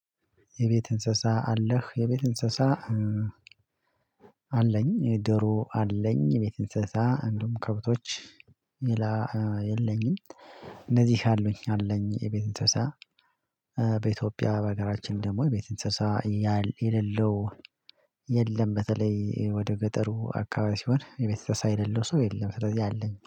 የቤት እንስሳ አለህ? የቤት እንስሳ አለኝ የደሮ አለኝ የቤት እንስሳ እንደውም ከብቶች የለኝም እንደዚህ ያሉኝ አለኝ የቤት እንስሳ በኢትዮጵያ በሀገራችን ደግሞ የቤት እንስሳ የሌለው የለም በተለይ ወደ ገጠሩ አካባቢ ሲሆን የቤት እንስሳ የሌለው ሰው የለም ስለዚህ አለኝ